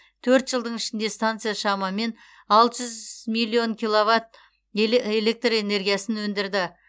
төрт жылдың ішінде станция шамамен алты жүз миллион киловатт электр энергиясын өндірді